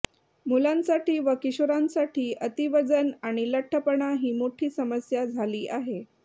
मुलांसाठी व किशोरांसाठी अतिवजन आणि लठ्ठपणा ही मोठी समस्या झाली आहे